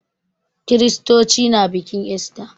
Kiristoci na bikin ista.